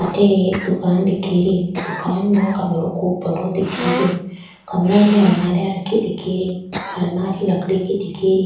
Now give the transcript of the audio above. अठ एक दुकान दिखे री दुकान में कमरों बड़ो दिखे रो कमरा में अलमारी रखी दिख री अलमारी लकड़ी की दिख री।